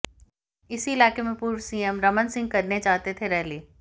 इसी इलाके में पूर्व सीएम रमन सिंह करने चाहते थे रैली